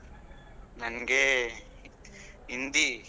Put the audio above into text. ನನ್ಗೆ ಹಿಂದಿ.